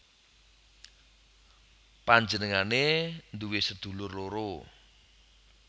Panjenengané nduwé sedulur loro